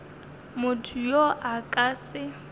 motho yo a ka se